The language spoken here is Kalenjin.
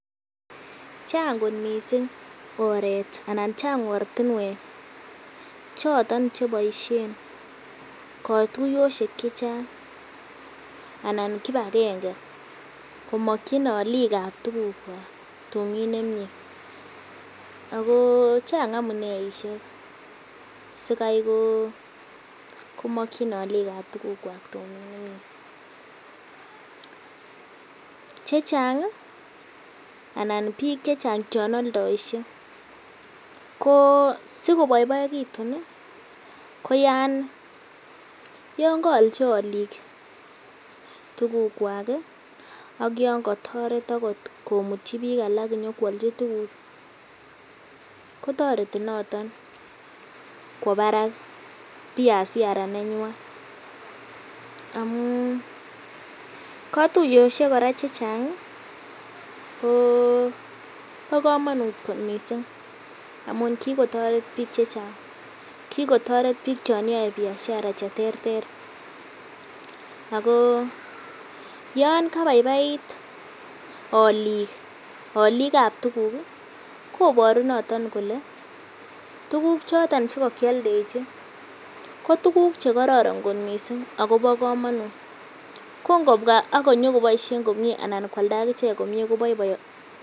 Chang kot mising oret anan chang ortinwek choton cheboishen kotuyosiek che chang anan kipagenge komokin olik ab tugukwak tumdo nemyee ago chang amuneishek sikai komokin olik ab tugukwak tumin nemye. Chechang anan biik che chang chon oldoishe ko sikoboiboegitun ko yongoolchi olik tugukwak ak yon kotoret agot komutyi biik alak konyokoalchi tuguk, kotoreti noton kwo barak biashara nenywan. Amun kotuyoshek kora chechang kobo komonut kot mising amun kigotoret biik che chang kigotoretbiik chon yoe biashara che terter ago yon kabaibait olik ab tuguk, koboru noton kole, tuguk che kogioldechi ko tuguk che kororonmising agobo komonut kongbwa ak konyokoboishen komye anan konyokoalda ak ichek komye kobaibaegitu.